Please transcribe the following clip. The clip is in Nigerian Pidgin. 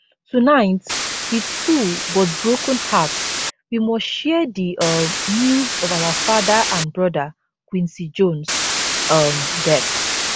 tonight wit full but broken hearts we must share di um news of our father and brother quincy jones um death